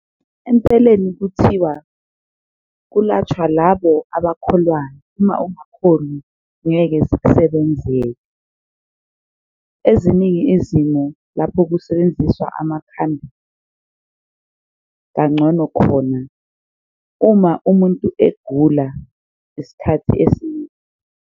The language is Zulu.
Empeleni kuthiwa kulatshwa labo abakholwayo uma ungakholwi ngeke zikusebenzele, eziningi izimo lapho kusebenziswa amakhambi kangcono khona uma umuntu egula isikhathi esiningi.